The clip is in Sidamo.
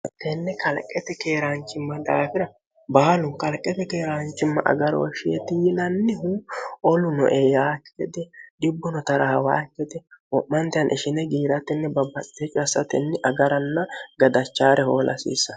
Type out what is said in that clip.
tenne kalqete keeraanchimma daafira baalu kalqete keeraanchimma agaroo sheeti yilannihu olunoe yaakki gede dibbuno tarahawa kete ho'mante han ishine giiratinni babbatec assatenni agaranna gadachaare hoolasiissa